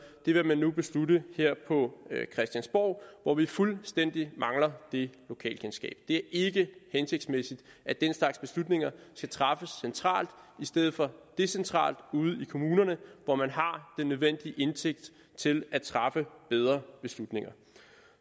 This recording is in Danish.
vil man nu beslutte her på christiansborg hvor vi fuldstændig mangler det lokalkendskab det er ikke hensigtsmæssigt at den slags beslutninger skal træffes centralt i stedet for decentralt ude i kommunerne hvor man har den nødvendige indsigt til at træffe bedre beslutninger